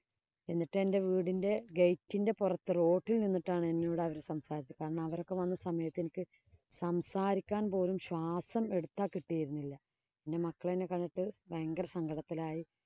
എന്നിട്ട് എന്‍റെ വീടിന്‍റെ gate ന്‍റെ പൊറത്ത്. Road ഇല്‍ നിന്നിട്ടാണ് എന്നോട് അവര്‍ സംസാരിച്ചത്. കാരണം, അവരൊക്കെ വന്ന സമയത്ത് എനിക്ക് സംസാരിക്കാന്‍ പോലും ശ്വാസം എടുത്താ കിട്ടിയിരുന്നില്ല.